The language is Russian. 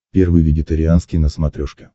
первый вегетарианский на смотрешке